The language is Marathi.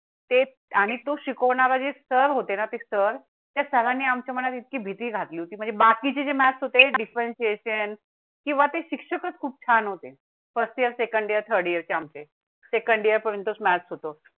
आणि तो शिकवणारे जे सर होते ना ते सर त्या सरान्नी आमच्या मनात इतकी भीती घेतली होती. म्हणजे बाकी चे मॅक्स होते. difference किंवा ते शिक्षकां खूप छान होते. First year second year third year चे आमचे सेकंड इअर पर्यंतच maths होतो